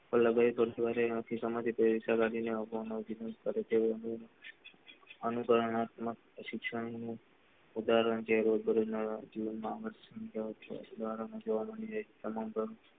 લગાય તો ગુરુદ્વારે ઇન્દિરા ગાંધી અનુકરણ આત્મા શિક્ષણ નું ઉદાહરણ છે રોજ બરોજ ના જીવન માં લગાય તો,